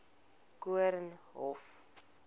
koornhof